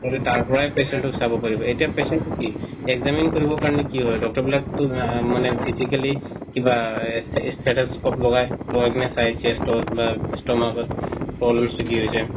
কিন্তু তাৰ পৰায় patient ক চাৱ পাৰিব এতিয়া patientক কি examine কৰিব কৰিব কাৰনে কি হয় doctor বিলাক তো physically কিৱা stethoscope লগায় লগায় কিনে চায় chest ত না stomach ত problems তো কি হৈছে